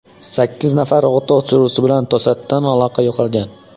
Sakkiz nafar o‘t o‘chiruvchi bilan to‘satdan aloqa yo‘qolgan.